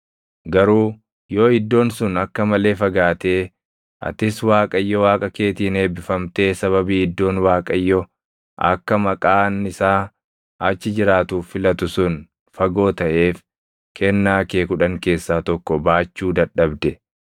Garuu yoo iddoon sun akka malee fagaatee, atis Waaqayyo Waaqa keetiin eebbifamtee sababii iddoon Waaqayyo akka Maqaan isaa achi jiraatuuf filatu sun fagoo taʼeef kennaa kee kudhan keessaa tokko baachuu dadhabde,